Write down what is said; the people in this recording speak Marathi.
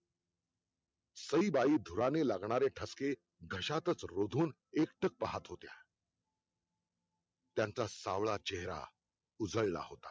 सईबाई धुराने लागणारे ठसके घशातच रोधून एकटक पाहत होत्या त्यांचा सावळा चेहरा उजळला होता